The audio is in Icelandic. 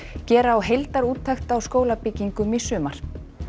gera á heildarúttekt á skólabyggingum í sumar